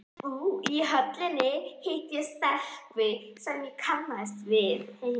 Í Höllinni hitti ég stelpu sem ég kannaðist við.